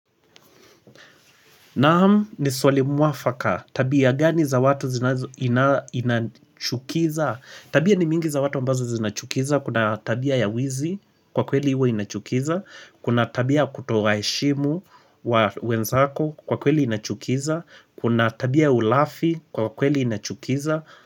Naam ni swali mwafaka. Tabia gani za watu zinachukiza? Tabia ni mingi za watu ambazo zinachukiza. Kuna tabia ya wizi kwa kweli huwa inachukiza. Kuna tabia ya kutowa heshimu wenzako kwa kweli inachukiza. Kuna tabia ya ulafi kwa kweli inachukiza.